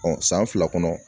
Ɔ san fila kɔnɔ